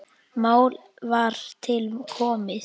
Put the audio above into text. Mál var til komið.